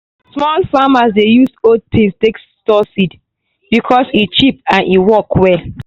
small farmers dey use old tins take store seeds because e cheap and e work well.